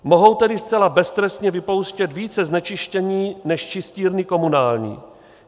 Mohou tedy zcela beztrestně vypouštět více znečištění než čistírny komunální.